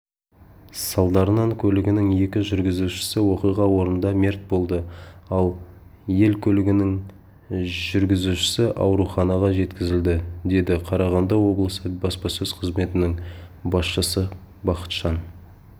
салдарынан көлігінің екі жүргізушісі оқиға орнында мерт болды ал ель көлігінің жүргізушісі ауруханаға жеткізілді деді қарағанды облысы баспасөз қызметінің басшысы бахытжан